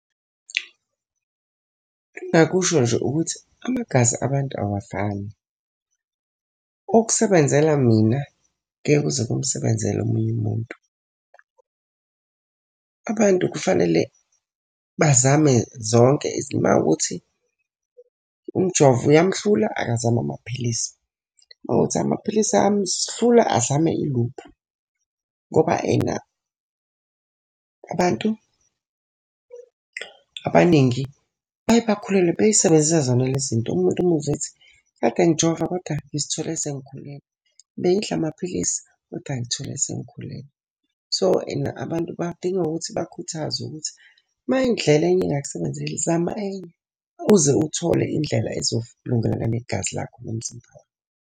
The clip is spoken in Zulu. Engingakusho nje ukuthi amagazi abantu awafani, okusebenzela mina ngeke kuze kumsebenzela omunye umuntu. Abantu kufanele bazame zonke uma kuwukuthi umjovo uyamhlula akazame amaphilisi. Uma kuwukuthi amaphilisi ayamhlula azame iluphi. Ngoba ena abantu abaningi baye bakhulelwe bey'sebenzisa zona le zinto. Umuntu umuzwe ethi, kade ngijova koda ngizithole sengikhulelwe. Bengidla amaphilisi kodwa ngithole sengikhulelwe. So, ena abantu badinga ukuthi bakhuthazwe ukuthi uma indlela enye ingakusebenzeli zama enye, uze uthole indlela negazi lakho nomzimba wakho.